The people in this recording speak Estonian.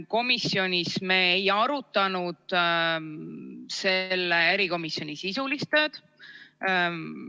Komisjonis me ei arutanud selle komisjoni sisulist tööd.